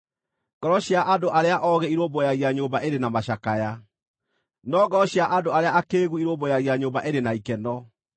Ngoro cia andũ arĩa oogĩ irũmbũyagia nyũmba ĩrĩ na macakaya, no ngoro cia andũ arĩa akĩĩgu irũmbũyagia nyũmba ĩrĩ na ikeno.